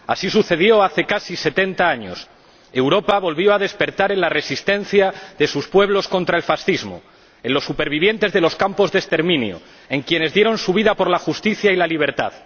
Así sucedió hace casi setenta años Europa volvió a despertar en la resistencia de sus pueblos contra el fascismo, en los supervivientes de los campos de exterminio, en quienes dieron su vida por la justicia y la libertad.